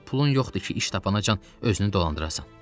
Amma pulun yoxdur ki, iş tapana can özünü dolandırasan.